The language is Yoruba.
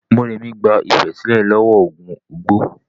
Morèmi gba Ifẹ̀ sílẹ̀ lọ́wọ́ ogun Ugbo.